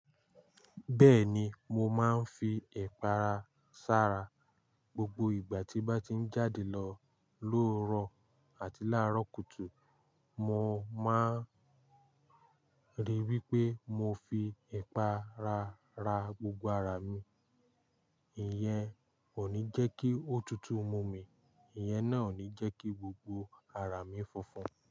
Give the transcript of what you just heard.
Bẹ́ẹ̀ni, mo máa ń fi ipàrá sára gbogbo ìgbà tí mo bá ti ń jáde lọ lówuro àti láàárọ̀ kùtù. Mo máa ń rí wí pé mo fi ẹ̀pà rára gbogbo ara mi. Ìyẹn ò ní jẹ́ kí ó tutù mu mi, ìyẹn náà ò ní jẹ́ kí gbogbo ara mi funfun.